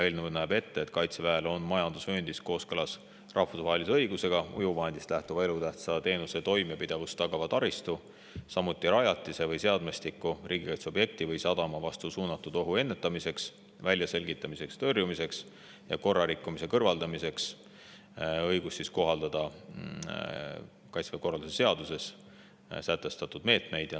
Eelnõu näeb ette, et Kaitseväel on majandusvööndis kooskõlas rahvusvahelise õigusega õigus veesõidukist või muust ujuvvahendist lähtuva elutähtsa teenuse toimepidevust tagava taristu, samuti riigikaitseobjekti, sadama või muu rajatise või seadmestiku vastu suunatud ohu ennetamiseks, väljaselgitamiseks ja tõrjumiseks või korrarikkumise kõrvaldamise eesmärgil kohaldada Kaitseväe korralduse seaduses sätestatud meetmeid.